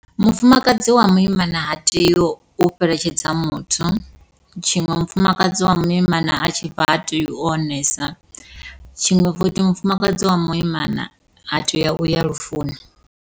Mufumakadzi wa muimana ha tei u fheletshedza muthu, tshiṅwe mufumakadzi wa muimana a tshi bva ha tei u onesana, tshiṅwe futhi mufumakadzi wa muimana ha tei uya lufuni.